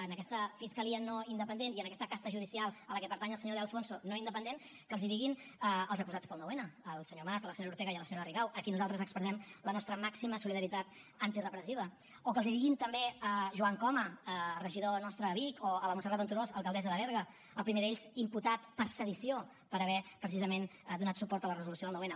en aquesta fiscalia no independent i en aquesta casta judicial a què pertany el senyor de alfonso no independent que els ho diguin als acusats per al nou n al senyor mas a la senyora ortega i a la senyora rigau a qui nosaltres expressem la nostra màxima solidaritat antirepressiva o que els ho diguin també a joan coma regidor nostre a vic o a la montserrat venturós alcaldessa de berga el primer d’ells imputat per sedició per haver precisament donat suport a la resolució del nou n